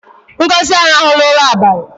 Ngozi arụhụla ụra abali